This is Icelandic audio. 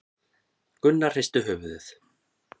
Gunnar hristi höfuðið.